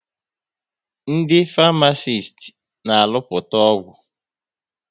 Ndị Farmasiti na arụputa ọgwụ